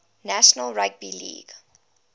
national rugby league